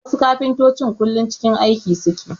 Wasu kafintotocin kullum cikin aiki suke